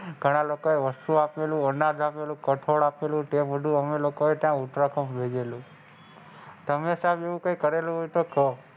ઘણા લોકો એ વસ્તુ આપેલી અનાજ આપેલું કઠોળ આપેલું તે બધું અમે લોકો એ ત્યાં ઉત્તરાખંડ લઇ ગયા તમે સાહેબ એવું કંઈક કરેલું હોય તો કો,